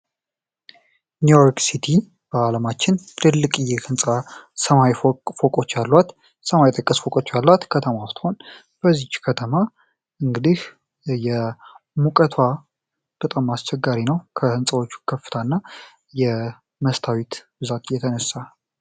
ኒው ዮርክ ሲቲ በዓለማችን ትልቅዬ ህንፃ ሰማይ ፎቆች አሏዋት ሰማይ የጠቀስ ፎቆች አሏዋት ከተማ ስትሆን በዚች ከተማ እንግዲህ የሙቀቷ በጣም አስቸጋሪ ነው። ከሕንፃዎቹ ከፍታ እና የመስታዊት ብዛቅ የተነሳ።